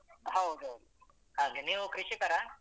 ಹೌದ್ ಹೌದು. ಹಾಗೆ ನೀವು ಕೃಷಿಕರ?